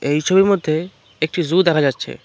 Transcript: এই ছবির মধ্যে একটি জু দেখা যাচ্ছে।